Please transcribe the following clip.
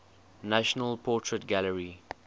national portrait gallery